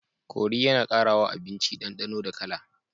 Kori yAna kara wa abinci dan danonda kala